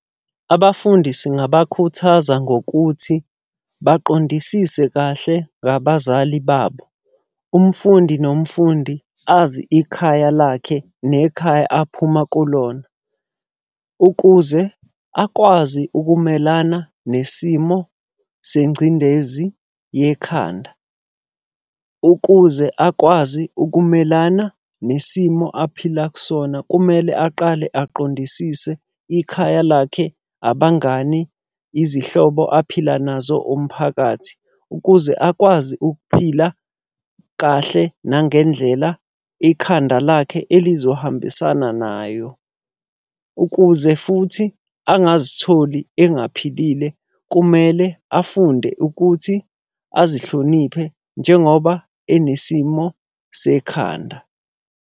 Abafundi singabakhuthaza ngokuthi baqondisise kahle ngabazali babo. Umfundi nomfundi azi ikhaya lakhe nekhaya aphuma kulona. Ukuze akwazi ukumelana nesimo sengcindezi yekhanda. Ukuze akwazi ukumelana nesimo aphila kusona, kumele aqale aqondisise ikhaya lakhe, abangani, izihlobo aphila nazo umphakathi. Ukuze akwazi ukuphila kahle nangendlela ikhanda lakhe elizohambisana nayo. Ukuze futhi angazitholi engaphilile kumele afunde ukuthi azihloniphe njengoba enesimo sekhanda.